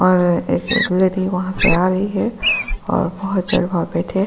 और एक लेडी वहां से आ रही है और बहुत बैठे हैं।